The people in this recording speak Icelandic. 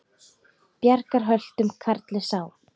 Bjargar höltum karli sá.